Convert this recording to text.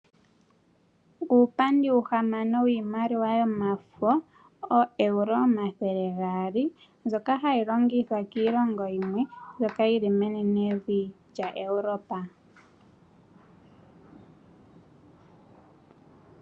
Uupandi uuhamano wiimaliwa yomafo ooEuro omathele gaali, mbyoka hayi longithwa kiilongo yimwe mbyoka yili menenevi lya Europa.